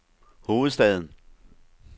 hovedstaden